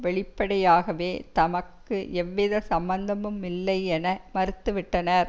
வெளிப்படையாவே தமக்கு எதுவித சம்பந்தமுமில்லையென மறுத்து விட்டனர்